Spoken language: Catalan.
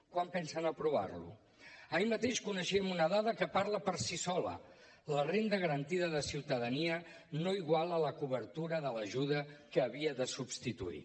quan pensen aprovar lo ahir mateix coneixíem una dada que parla per si sola la renda garantida de ciutadania no iguala la cobertura de l’ajuda que havia de substituir